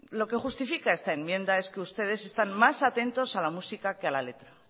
lo que justifica esta enmienda es que ustedes están más atentos a la música que a la letra